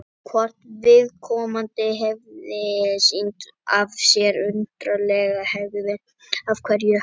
Hvort viðkomandi hefði sýnt af sér undarlega hegðun á einhvern hátt?